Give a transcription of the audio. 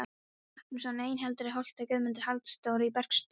Magnússon í Eyhildarholti, Guðmundur Halldórsson á Bergsstöðum